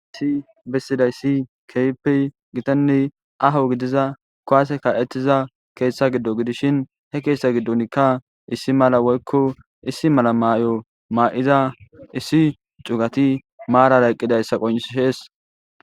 Issi bissidayssi keypi gitanni aho gidiza kowase ka'ettiza keeththa giddo gidishin he keeththa giddonkka issi mala woykko issi mala maayo maa'iza issi cugati maarara eqqidayssa qonishees.